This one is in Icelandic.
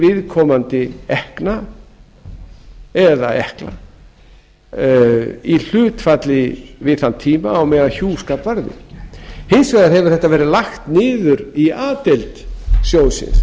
viðkomandi ekkna eða ekkla í hlutfalli við þann tíma sem hjúskapur varði hins vegar hefur þetta verið lagt niður í a deild sjóðsins